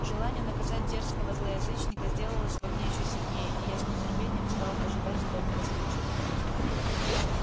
желание наказать дерзкого злоязычника сделалось во мне ещё сильнее и я с нетерпением стал ожидать удобного случая